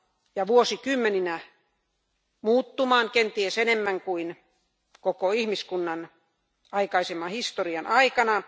ja vuosikymmeninä muuttumaan kenties enemmän kuin koko ihmiskunnan aikaisemman historian aikana.